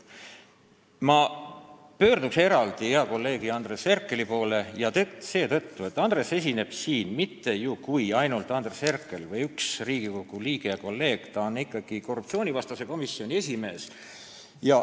Ma pöördun eraldi hea kolleegi Andres Herkeli poole seetõttu, et ta ei esine siin mitte ainult Andres Herkeli või ühe Riigikogu liikmena, vaid ta on ikkagi Riigikogu korruptsioonivastase komisjoni esimees.